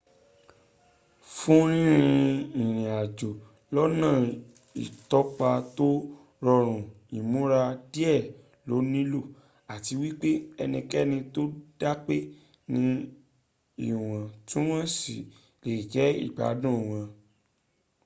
fún rínrín ìrìnàjò lọ́nà ìtọpa tó rọrùn ìmúra díẹ̀ lo níló àti wípé ẹnikẹ́ni tó dápé ní ìwọ̀ntuwọ̀nsì lẹ jẹ́ ìgbádùn wọn